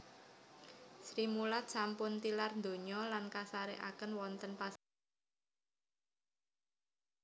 Srimulat sampun tilar donya lan kasarekaken wonten pasarean Bonoloyo Solo